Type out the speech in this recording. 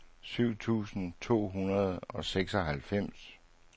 syv tusind to hundrede og seksoghalvfems